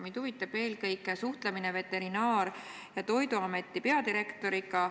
Mind huvitab eelkõige suhtlemine Veterinaar- ja Toiduameti peadirektoriga.